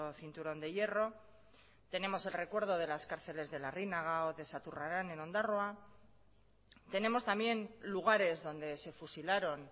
cinturón de hierro tenemos el recuerdo de las cárceles de larrinaga o de saturraran en ondarroa tenemos también lugares donde se fusilaron